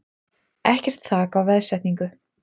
Ekkert þak á veðsetningu